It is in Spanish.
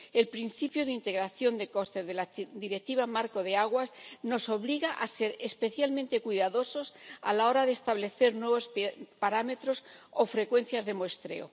El principio de integración de costes de la Directiva Marco del agua nos obliga a ser especialmente cuidadosos a la hora de establecer nuevos parámetros o frecuencias de muestreo.